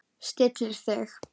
Stillir sig.